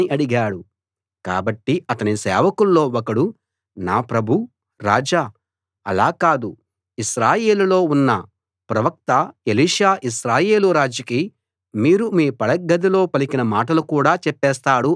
కాబట్టి అతని సేవకుల్లో ఒకడు నా ప్రభూ రాజా అలా కాదు ఇశ్రాయేలులో ఉన్న ప్రవక్త ఎలీషా ఇశ్రాయేలు రాజుకి మీరు మీ పడగ్గదిలో పలికిన మాటలు కూడా చెప్పేస్తాడు అన్నాడు